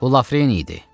Bu Lafreni idi.